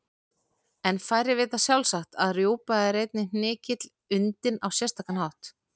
En færri vita sjálfsagt að rjúpa er einnig hnykill undinn á sérstakan hátt.